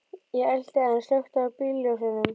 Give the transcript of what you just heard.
Ég elti en slökkti á bílljósunum.